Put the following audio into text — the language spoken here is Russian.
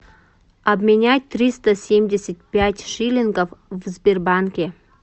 обменять триста семьдесят пять шиллингов в сбербанке